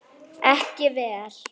Ekki vel.